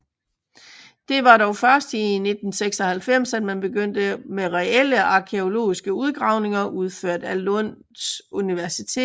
Det var dog først i 1996 at man begyndte med reelle arkæologiske udgravninger udført af Lunds Universitet